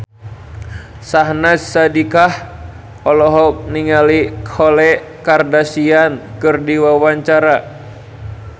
Syahnaz Sadiqah olohok ningali Khloe Kardashian keur diwawancara